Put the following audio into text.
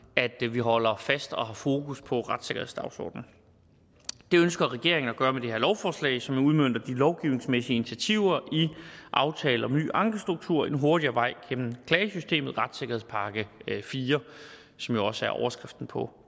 vi holder fast i og har fokus på retssikkerhedsdagsordenen det ønsker regeringen at gøre med det her lovforslag som udmønter de lovgivningsmæssige initiativer i aftalen om en ny ankestruktur en hurtigere vej gennem klagesystemet retssikkerhedspakke iv som jo også er overskriften på